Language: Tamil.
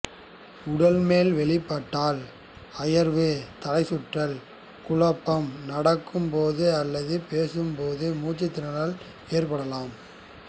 உடல் மேல் வெளிப்பட்டால் அயர்வு தலைச்சுற்றல் குழப்பம் நடக்கும் போது அல்லது பேசும் போது மூச்சுத்திணறல் ஏற்படலாம்